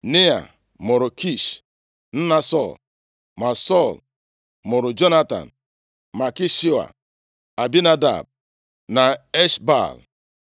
Nea mụrụ Kish, nna Sọl. Ma Sọl mụrụ Jonatan, Malkishua, Abinadab na Esh-Baal.